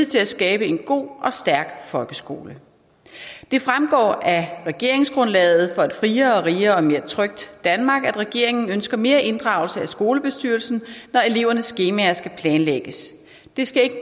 til at skabe en god og stærk folkeskole det fremgår af regeringsgrundlaget for et friere rigere og mere trygt danmark at regeringen ønsker mere inddragelse af skolebestyrelsen når elevernes skemaer skal planlægges det skal ikke